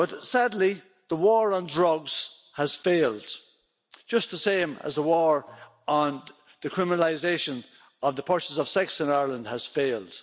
Sadly, the war on drugs has failed, just the same as the war on the criminalisation of the purchase of sex in Ireland has failed.